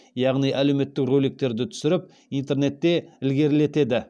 яғни әлеуметтік роликтерді түсіріп интернетте ілгерілетеді